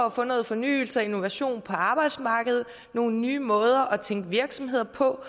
at få noget fornyelse og innovation på arbejdsmarkedet og nogle nye måder at tænke virksomheder på